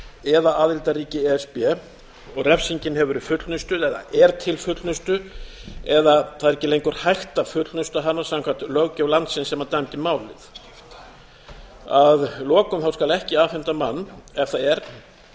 eða aðildarríki e s b og refsingin hefur verið fullnustuð eða er til fullnustu eða það er ekki lengur hægt að fullnusta hana samkvæmt löggjöf landi sem dæmdi málið að lokum skal ekki afhenda mann ef það er